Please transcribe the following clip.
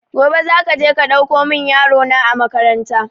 Gobe za ka je ka ɗauko mun yaro na a makaranta